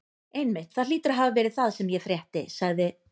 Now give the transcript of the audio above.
Einmitt, það hlýtur að hafa verið það sem ég frétti sagði